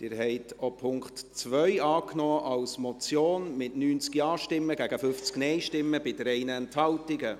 Sie haben auch den Punkt 2 als Motion angenommen, mit 90 Ja- zu 50 Nein-Stimmen bei 3 Enthaltungen.